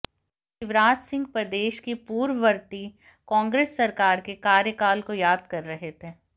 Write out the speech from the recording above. शिवराजसिंह प्रदेश की पूर्ववर्ती कांग्रेस सरकार के कार्यकाल को याद कर रहे थे